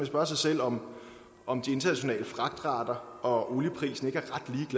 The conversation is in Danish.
spørge sig selv om om de internationale fragtrater og olieprisen ikke